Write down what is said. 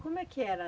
Como é que era?